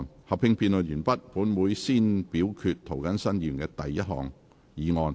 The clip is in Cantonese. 合併辯論完畢後，本會會先表決涂謹申議員的第一項議案。